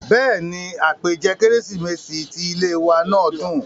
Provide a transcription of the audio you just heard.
bẹ́ẹ̀ni, àpèjẹ kérésìmesì ti ilé ìwé náà dùn